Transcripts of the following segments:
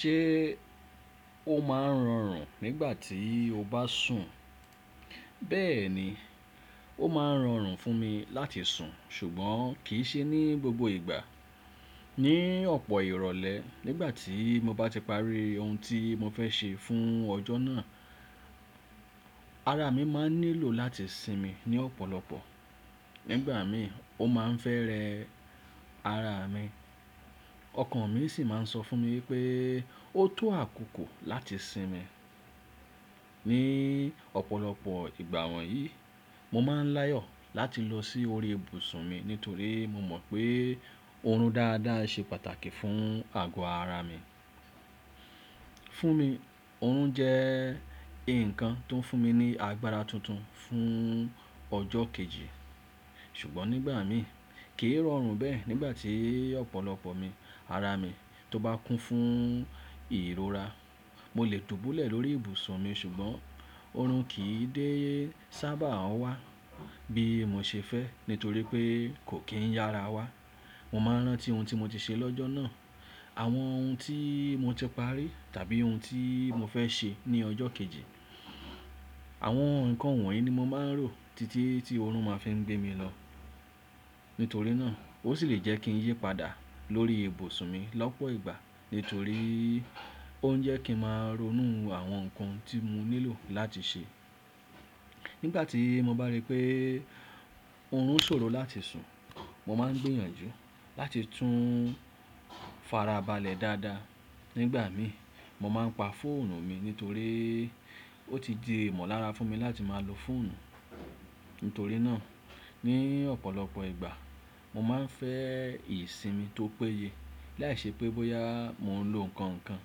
Ṣé ó máa ń rọrùn nígbà tí o bá sùn? Bẹ́ẹ̀ ni, ó máa ń rọrùn fún mi láti sùn ṣùgbọ́n kì í ṣe ní gbogbo ìgbà. Ni ọ̀pọ̀ ìrọ̀lẹ́ nígbà tí mo bá ti parí ohun tí mo fẹ́ ṣe fún ọjọ́ náà, ara mi máa ń nílò láti sinmi ní ọ̀pọ̀lọpọ̀. Nígbà mi ò máa ń fẹ́ẹ́ rẹ ara mi. Ọkàn mi sì máa ń sọ fún mi wípé ó tó àkókò láti sinmi. Ni ọ̀pọ̀lọpọ̀ ìgbà wọ̀nyí, mo máa ń láyọ̀ láti lọ sí orí ibùsùn mi nítorí mo mọ̀ pé orun dáadáa ṣe pàtàkì fún àgọ́ ara mi. Fún mi, orun jẹ́ ǹkan tó ń fún mi ní agbára tuntun fún ọjọ́ kejì. Ṣùgbọ́n nígbà mi kìí rọrùn bẹ́ẹ̀ nígbà tí ọ̀pọ̀lọpọ̀ mi, ara mi tó bá kún fún ìrora. Mo lè dúbọ̀lẹ̀ lórí ibùsùn mi ṣùgbọ́n orun kìí dé sábà wá bí mo ṣe fẹ́ nítorí pé kò kí ń yára wá. Mo máa ń rántí ohun tí mo ti ṣe lọ́jọ́ náà, àwọn ohun tí mo ti parí tàbí ohun tí mo fẹ́ ṣe ní ọjọ́ kejì. Àwọn ǹkan wọ̀nyí ni mo máa ń rò títí tí orun máa fi ń gbé mi lọ. Nítorí náà, ó sì lè jẹ́ kí n yípadà lórí ibùsùn mi lọ́pọ̀ ìgbà nítorí ó ń jẹ́ kí ń máa ronú àwọn ǹkan tí mo nílò láti ṣe. Nígbà tí mo bá rí pé orun ṣòro láti sùn, mo máa ń gbìyànjú láti tún farabalẹ̀ dáadáa. Nígbà mi, mo máa ń pa fóònù mi nítorí ó ti di ìmọ̀lára fún mi láti máa lo fóònù. Nítorí náà, ní ọ̀pọ̀lọpọ̀ ìgbà mo máa ń fẹ́ ìsinmi tó péye. Láìṣẹ́ pé bóyá mò ń lo ǹkan kan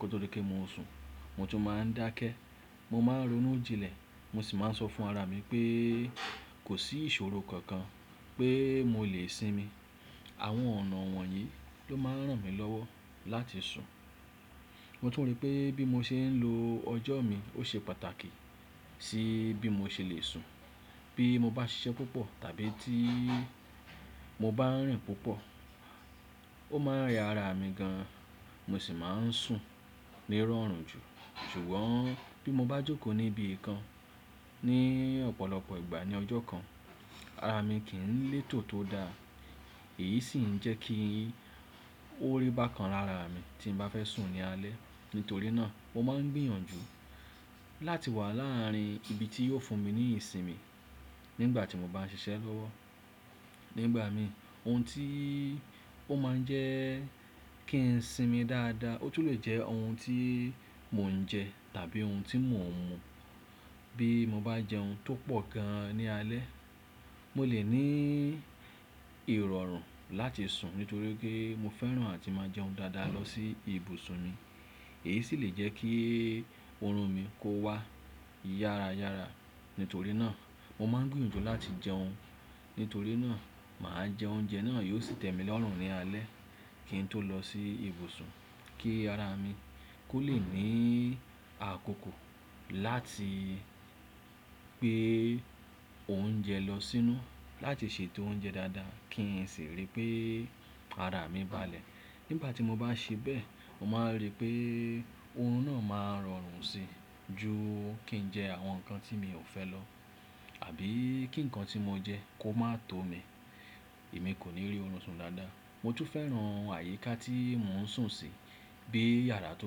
kótó di pé mo sùn, mo tún máa ń dákẹ́, mo máa ń ronú jinlẹ̀, mo sì máa ń sọ fún ara mi pé kò sí ìṣòro kankan pé mo lè sinmi. Àwọn ọ̀nà wọ̀nyí ló máa ń ràn mí lọ́wọ́ láti sùn. Mo tún rí pé bí mo ṣe ń lo ọjọ́ mi ó ṣe pàtàkì sí bí mo ṣe lè sùn. Bí mo bá ṣiṣẹ́ púpọ̀ tàbí tí mo bá rìn púpọ̀, ó máa ń rẹ ara mi gan, mo sì máa ń sùn ní irọ̀rùn jù. Ṣùgbọ́n bí mo bá jókòó níbi kan ní ọ̀pọ̀lọpọ̀ ìgbà ní ọjọ́ kan, ara mi kìí ń létò tó dáa. Èyí sì ń jẹ́ kí ó rí bákan lára ara mi tí n bá fẹ́ sùn ní alẹ́. Nítorí náà, mo máa ń gbìyànjú láti wà láàrín ibi tí yóò fún mi ní ìsinmi nígbà tí mo bá ń ṣiṣẹ́ lọ́wọ́. Nígbà mi ohun tí ó máa ń jẹ́ kí ń sinmi dáadáa, ó tún lè jẹ́ ohun tí mò ń jẹ tàbí ohun tí mò ń mu. Bí mo bá jẹ ohun tó pọ̀ gan ní alẹ́, mo lè ní ìrọ̀rùn láti sùn nítorí pé mo fẹ́ràn àti máa jẹ ohun dáadáa lọ sí ibùsùn mi. Èyí sì lè jẹ́ kí orun mi kó wá yára yára. Nítorí náà, mo máa ń gbìyànjú láti jẹ ohun. Nítorí náà, màá jẹ oúnjẹ náà yóò sì tẹ́ mi lọ́rùn ní alẹ́ kí n tó lọ sí ibùsùn kí ara mi kó lè ní àkókò láti gbé òúnjẹ lọ sínú láti ṣètò oúnjẹ dáadáa kí n sì rí pé ara mi balẹ̀. Nígbà tí mo bá ṣe bẹ́ẹ̀, mo máa ń rí pé orun náà máa ń rọrùn sí i ju kí n jẹ àwọn ǹkan tí mi ò fẹ́ lọ àbí kí ǹkan tí mo jẹ kó máa tó mi, èmi kò ní rí orun sùn dáadáa. Mo tún fẹ́ràn àyíká tí mò ń sùn sí. Bí yàrá tó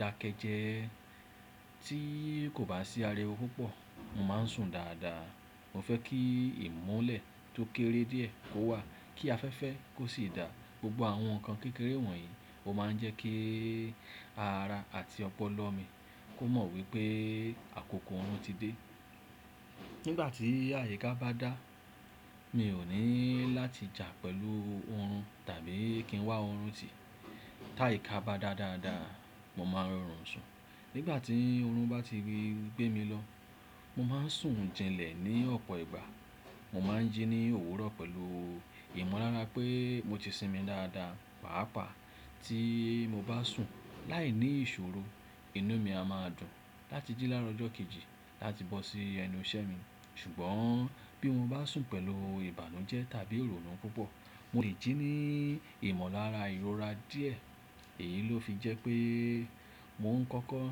dákẹ́ jẹ́ tí kò bá sí ariwó púpọ̀, mo máa ń sùn dáadáa. Mo fẹ́ kí ìmolẹ̀ tó kéré díẹ̀ kó wà, kí afẹ́fẹ́ kó sì daà. Gbogbo àwọn ǹkan kékeré wọ̀nyí ó máa ń jẹ́ kí ara àti ọpọlọ mi kó mọ̀ wípé àkókò orun ti dé. Nígbà tí àyíká bá dá, mi ò ní láti jà pẹ̀lú orun tàbí kí ń wá orun tì. Táyì ká bá dá dáadáa, mo máa ń rọrùn sùn. Nígbà tí orun bá ti gbé mi lọ, mo máa ń sùn jinlẹ̀ ní ọ̀pọ̀ ìgbà. Mo máa ń jí ní òwúrọ̀ pẹ̀lú ìmọ̀lára pé mo ti sinmi dáadáa. Páàpáà tí mo bá sùn láìní ìṣòro, inú mi a máa dùn láti jí láàrọ̀ ọjọ́ kejì láti bọ́ sí ẹnu iṣẹ́ mi. Ṣùgbọ́n bí mo bá sùn pẹ̀lú ìbànújẹ́ tàbí ìrònú púpọ̀, mo lè jí ní ìmọ̀lára ìrora díẹ̀ èyí ló fi jẹ́ pé mò ń kọ́kọ́.